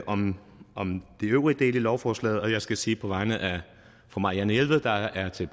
om om de øvrige dele af lovforslaget og jeg skal sige på vegne af fru marianne jelved der er til